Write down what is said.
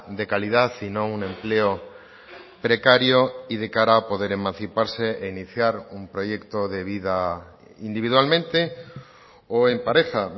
de calidad y no un empleo precario y de cara a poder emanciparse e iniciar un proyecto de vida individualmente o en pareja